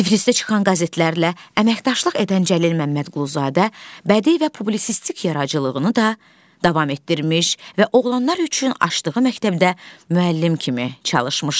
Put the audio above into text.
Tiflisdə çıxan qəzetlərlə əməkdaşlıq edən Cəlil Məmmədquluzadə bədii və publisistik yaradıcılığını da davam etdirmiş və oğlanlar üçün açdığı məktəbdə müəllim kimi çalışmışdı.